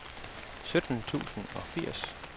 sytten tusind og firs